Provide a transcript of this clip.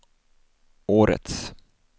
årets